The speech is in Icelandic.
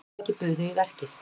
Fjögur fyrirtæki buðu í verkið